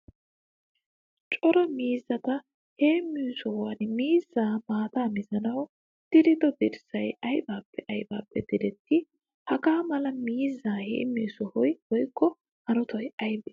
Cora miizzatta heemiyo sohuwan miizza maata mizzanawu diriddo dirssay aybbappe aybbappe diretti? Hagaa mala miizza heemiyo sohoy woykko hanotay aybbe?